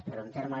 però en termes